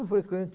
Eu frequento.